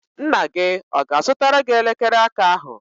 Nna gị ọ ga-azụtara gị elekere aka ahụ?